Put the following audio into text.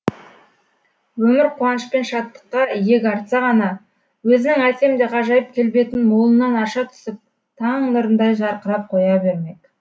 өмір қуаныш пен шаттыққа иек артса ғана өзінің әсем де ғажайып келбетін молынан аша түсіп таң нұрындай жарқырап қоя бермек